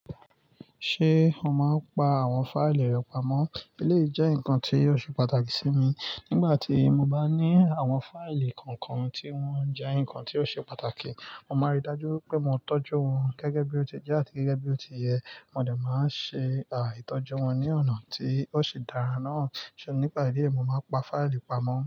Ṣé o máa ń pa àwọn fáìlì rẹ pamọ́? Eléyìí jẹ́ nǹkan tí ó ṣe pàtàkì sí mi nígbà tí mo bá ní àwọn fáìlì kankan tí wọ́n jẹ́ nǹkan tí ó ṣe pàtàkì. Mo máa rí i dájú pé mo tọ́jú wọn gẹ́gẹ́ bí ó ti jẹ́ àti gẹ́gẹ́ bí ó ti yẹ. Mo dè máa ń ṣe, à, ìtọ́jú wọn ní ọ̀nà tí ó ṣe dára náà. Ṣé nípa eléyìí mo máa ń pa fáìlì pamọ́.